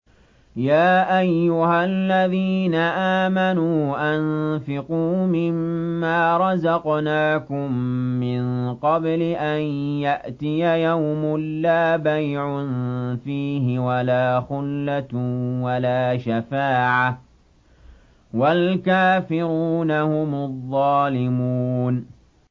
يَا أَيُّهَا الَّذِينَ آمَنُوا أَنفِقُوا مِمَّا رَزَقْنَاكُم مِّن قَبْلِ أَن يَأْتِيَ يَوْمٌ لَّا بَيْعٌ فِيهِ وَلَا خُلَّةٌ وَلَا شَفَاعَةٌ ۗ وَالْكَافِرُونَ هُمُ الظَّالِمُونَ